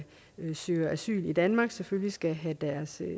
søger asyl i danmark selvfølgelig skal have deres